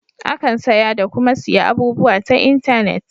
Akan saya da kuma siya abubuwa ta intenet.